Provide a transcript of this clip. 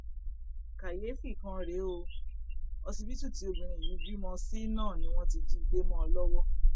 káyééfì kan rèé o ọsibítù tí obìnrin yìí bímọ sí náà ni wọn ti jí i gbé mọ ọn lọwọ